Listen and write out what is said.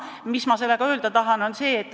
Mis ma sellega öelda tahan?